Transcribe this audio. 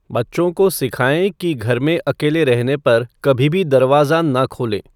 बच्चों को सिखाएँ कि घर में अकेले रहने पर कभी भी दरवाज़ा ना खोलें